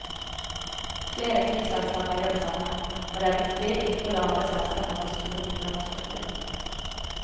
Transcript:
Flere flyselskaper gjør det samme, og det er viktig ikke å la andre selskaper få store konkurransefortrinn.